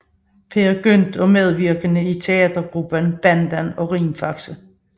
Peer Gynt og medvirkede i teatergrupperne Banden og Rimfaxe